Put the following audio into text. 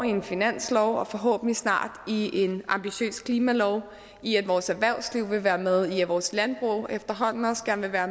en finanslov og forhåbentlig snart i en ambitiøs klimalov i at vores erhvervsliv vil være med i at vores landbrug efterhånden også gerne vil være